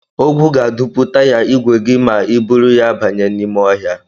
Ogwu ga-adụpu taya ígwè gị ma I buru ya banye n'ime ọhịa.